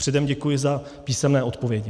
Předem děkuji za písemné odpovědi.